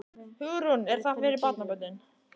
Hugrún: Er það fyrir barnabörnin?